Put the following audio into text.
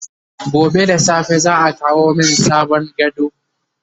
gobe da safe za'a kawo min sabon gado